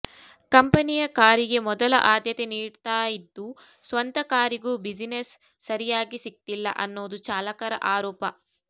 ಕಂಪನಿಯ ಕಾರಿಗೆ ಮೊದಲ ಆದ್ಯತೆನೀಡ್ತಾಯಿದ್ದು ಸ್ವಂತ ಕಾರಿಗೂ ಬಿಸಿನೆಸ್ ಸರಿಯಾಗಿ ಸಿಕ್ತಿಲ್ಲ ಅನ್ನೋದು ಚಾಲಕರ ಆರೋಪ